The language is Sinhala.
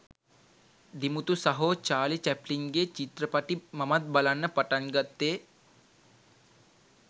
දිමුතු සහෝ චාලි චැප්ලින්ගේ චිත්‍රපටි මමත් බලන්න පටන්ගත්තේ